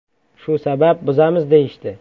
Shu sabab buzamiz, deyishdi.